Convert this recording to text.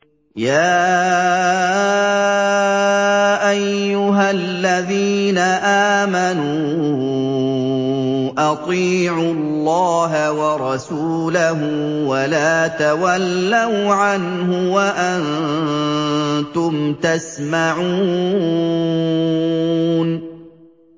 يَا أَيُّهَا الَّذِينَ آمَنُوا أَطِيعُوا اللَّهَ وَرَسُولَهُ وَلَا تَوَلَّوْا عَنْهُ وَأَنتُمْ تَسْمَعُونَ